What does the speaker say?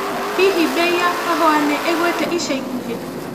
Hihi mbei ya kahũa nĩĩgũĩte ica ikuhĩ?